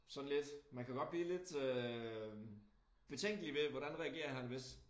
Sådan lidt man kan godt blive lidt øh betænkelig ved hvordan reagerer han hvis